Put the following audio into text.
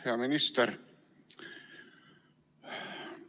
Hea minister!